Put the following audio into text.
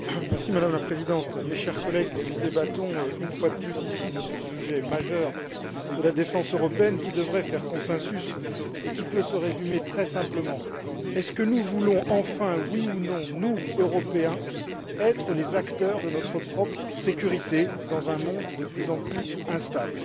Madame la Présidente, chers collègues, nous débattons une fois de plus ici de ce sujet majeur qu'est la défense européenne, qui devrait recueillir un consensus et qui peut se résumer très simplement voulons nous enfin, oui ou non, nous, Européens, être les acteurs de notre propre sécurité dans un monde de plus en plus instable?